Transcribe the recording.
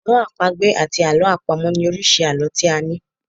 Àlọ́ àpagbè àti àlọ́ àpamọ̀ ni oríṣi àlọ́ tí a ní.